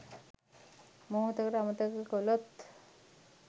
මොහොතකට අමතක කළොත්